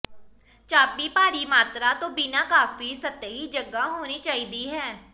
ਚਾਬੀ ਭਾਰੀ ਮਾਤਰਾ ਤੋਂ ਬਿਨਾਂ ਕਾਫ਼ੀ ਸਤਹੀ ਜਗ੍ਹਾ ਹੋਣੀ ਚਾਹੀਦੀ ਹੈ